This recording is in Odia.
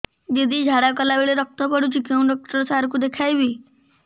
ଦିଦି ଝାଡ଼ା କଲା ବେଳେ ରକ୍ତ ପଡୁଛି କଉଁ ଡକ୍ଟର ସାର କୁ ଦଖାଇବି